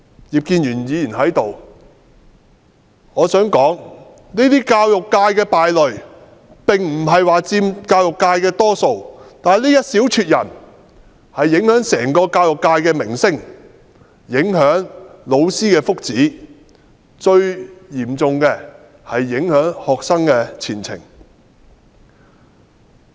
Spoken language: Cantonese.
葉建源議員在這裏，我想說教育界的敗類並不是佔大多數，但這一小撮人卻影響整個教育界的名聲和老師的福祉，最嚴重的是，影響學生的前程。